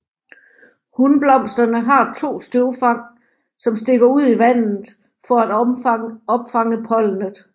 Hunblomsterne har 2 støvfang som stikker ud i vandet for at opfange pollenet